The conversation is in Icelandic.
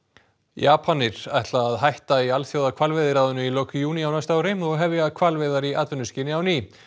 Japanir ætla að hætta í Alþjóðahvalveiðiráðinu í lok júní á næsta ári og hefja hvalveiðar í atvinnuskyni á ný